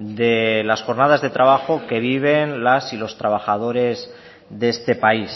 de las jornadas de trabajo que viven las y los trabajadores de este país